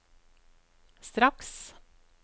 straks